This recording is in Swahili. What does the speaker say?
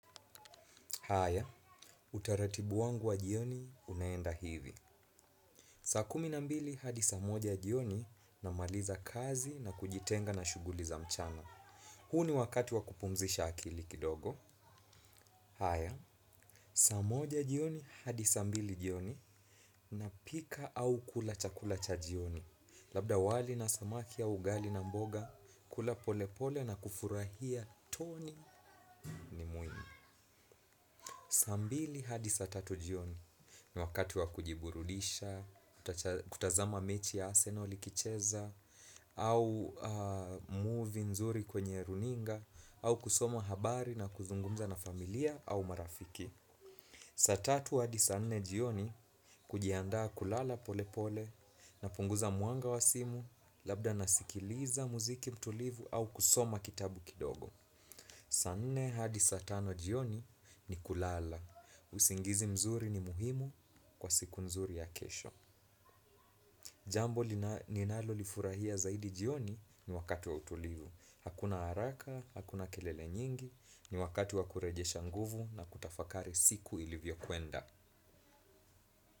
Haya, utaratibu wangu wa jioni unaenda hivi saa kumi na mbili hadi saa moja jioni namaliza kazi na kujitenga na shughuli za mchana. Huu ni wakati wa kupumzisha akili kidogo. Haya, sa moja jioni hadi sa mbili jioni napika au kula chakula cha jioni. Labda wali na samaki au ugali na mboga kula polepole na kufurahia toni ni muhimu saa mbili hadi saa tatu jioni ni wakati wa kujiburulisha, kutazama mechi ya arsenal ikicheza, au muvi nzuri kwenye runinga, au kusoma habari na kuzungumza na familia au marafiki. Saa tatu hadi saa nne jioni kujiandaa kulala pole pole napunguza mwanga wa simu labda nasikiliza muziki mtulivu au kusoma kitabu kidogo. Saa nne hadi saa tano jioni ni kulala, usingizi mzuri ni muhimu kwa siku mzuri ya kesho. Jambo ninalolifurahia zaidi jioni ni wakati wa utulivu. Hakuna haraka, hakuna kelele nyingi, ni wakati wa kurejesha nguvu na kutafakari siku ilivyokwenda.